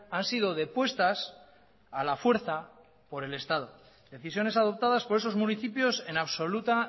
han sido depuestas a la fuerza por el estado decisiones adoptadas por esos municipios en absoluta